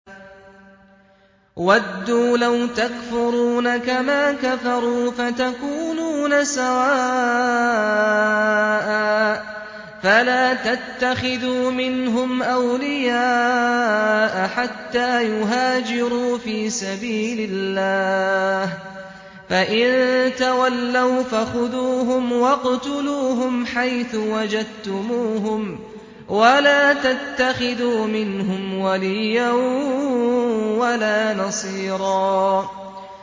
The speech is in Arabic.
وَدُّوا لَوْ تَكْفُرُونَ كَمَا كَفَرُوا فَتَكُونُونَ سَوَاءً ۖ فَلَا تَتَّخِذُوا مِنْهُمْ أَوْلِيَاءَ حَتَّىٰ يُهَاجِرُوا فِي سَبِيلِ اللَّهِ ۚ فَإِن تَوَلَّوْا فَخُذُوهُمْ وَاقْتُلُوهُمْ حَيْثُ وَجَدتُّمُوهُمْ ۖ وَلَا تَتَّخِذُوا مِنْهُمْ وَلِيًّا وَلَا نَصِيرًا